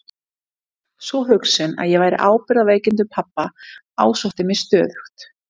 Sú hugsun að ég bæri ábyrgð á veikindum pabba ásótti mig stöðugt.